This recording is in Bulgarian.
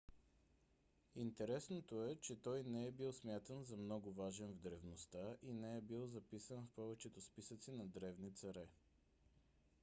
интересното е че той не е бил смятан за много важен в древността и не е бил записан в повечето списъци на древни царе